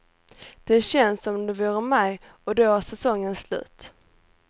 Det känns som om det vore maj och då är säsongen slut.